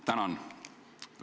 Tänan!